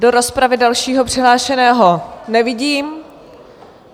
Do rozpravy dalšího přihlášeného nevidím.